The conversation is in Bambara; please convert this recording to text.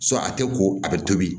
a tɛ ko a bɛ tobi